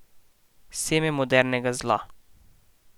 Seme modernega zla.